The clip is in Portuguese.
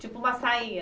Tipo uma sainha?